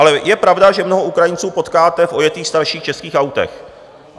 Ale je pravda, že mnoho Ukrajinců potkáte v ojetých starších českých autech.